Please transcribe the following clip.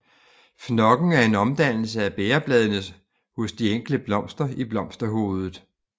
Fnokken er en omdannelse af bægerbladene hos de enkelte blomster i blomsterhovedet